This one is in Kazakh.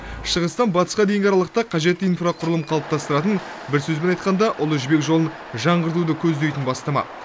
шығыстан батысқа дейінгі аралықта қажетті инфрақұрылым қалыптастыратын бір сөзбен айтқанда ұлы жібек жолын жаңғыртуды көздейтін бастама